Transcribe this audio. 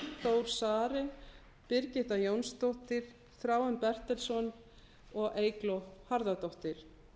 þór saari birgitta jónsdóttir þráinn bertelsson og eygló harðardóttir